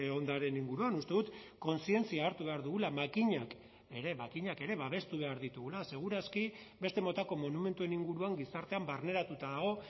ondareen inguruan uste dut kontzientzia hartu behar dugula makinak ere makinak ere babestu behar ditugula seguraski beste motako monumentuen inguruan gizartean barneratuta dago